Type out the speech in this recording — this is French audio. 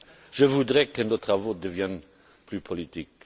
Je voudrais que nos travaux deviennent plus politiques.